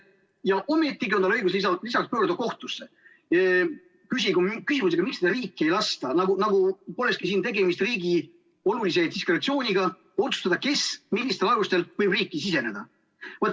Ja ometigi on tal õigus lisaks pöörduda kohtusse küsimusega, miks teda riiki ei lasta, nagu polekski siin tegemist riigi olulise diskretsiooniga otsustada, kes millistel alustel võib riiki siseneda.